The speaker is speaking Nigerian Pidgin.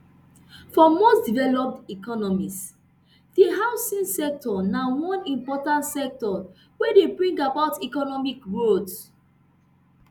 for most developed economies di housing sector na one important sector wey dey bring about economic growth